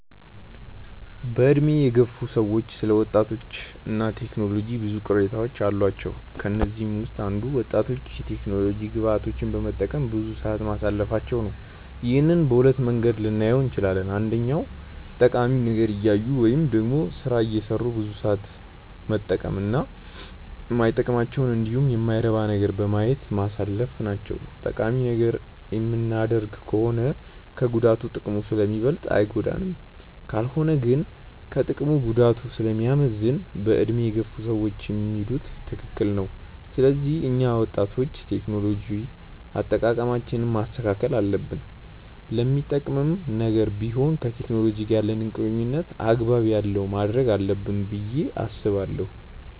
በዕድሜ የገፉ ሰዎች ስለ ወጣቶች እና ቴክኖሎጂ ብዙ ቅሬታዎች አሏቸው። ከነዚህም ውስጥ አንዱ ወጣቶች የቴክኖሎጂ ግብአቶችን በመጠቀም ብዙ ሰዓት ማሳለፋቸው ነው። ይህንን በሁለት መንገድ ልናየው እንችላለን። አንደኛ ጠቃሚ ነገር እያዩ ወይም ደግሞ ስራ እየሰሩ ብዙ ሰዓት መጠቀም እና ማይጠቅመንንን እንዲሁም የማይረባ ነገርን በማየት ማሳለፍ ናቸው። ጠቃሚ ነገር የምናደርግ ከሆነ ከጉዳቱ ጥቅሙ ስለሚበልጥ አይጎዳንም። ካልሆነ ግን ከጥቅሙ ጉዳቱ ስለሚያመዝን በዕድሜ የገፉ ሰዎች የሚሉት ትክክል ነው። ስለዚህ እኛ ወጣቶች የቴክኖሎጂ አጠቃቀማችንን ማስተካከል አለብን። ለሚጠቅምም ነገር ቢሆን ከቴክኖሎጂ ጋር ያለንን ቁርኝነት አግባብ ያለው ማድረግ አለብን ብዬ አስባለሁ።